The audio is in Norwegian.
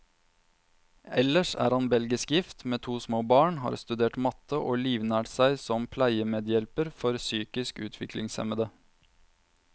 Ellers er han belgisk gift, med to små barn, har studert matte, og livnært seg som pleiemedhjelper for psykisk utviklingshemmede.